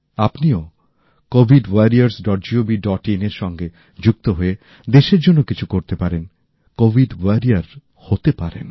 আপনিও covidwarriorsgovin এর সঙ্গে যুক্ত হয়ে দেশের জন্য কিছু করতে পারেন কোভিড যোদ্ধা হতে পারেন